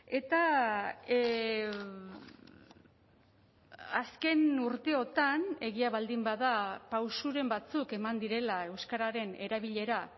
eta azken urteotan egia baldin bada pausuren batzuk eman direla euskararen erabilera